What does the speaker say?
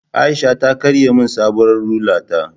Aisha ta karya min sabuwar rula ta